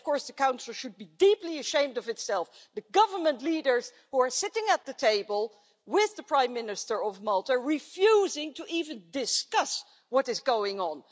The Council should be deeply ashamed of itself the government leaders who are sitting at the table with the Prime Minister of Malta refusing to even discuss what is going on.